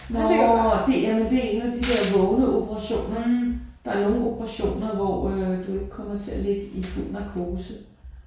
Nåh det jamen det er en af de der vågne operationer. Der er nogle operationer hvor øh du ikke kommer til at ligge i fuld narkose